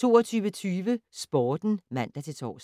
22:20: Sporten (man-tor)